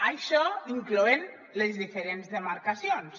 això incloent les diferents demarcacions